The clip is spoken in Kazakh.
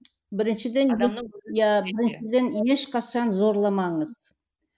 ешқашан зорламаңыз